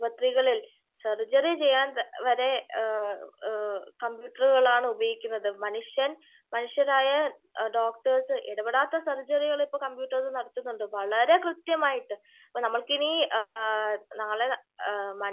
ആശുപത്രികളിൽ സർജറി ചെയ്യാൻ വരെ കമ്പ്യൂട്ടറുകളാണ് ഉപയോഗിക്കുന്നത്. മനുഷ്യൻ മനുഷ്യരായ ഡോക്ടഴ്സ് ഇടപ്പെടാത്ത സർജറികള് ഇപ്പോ കമ്പ്യൂട്ടർ നടത്തുന്നുണ്ട്. വളരെ കൃത്യമായിട്ട് അപ്പോ നമ്മൾക്കിനി നാളെ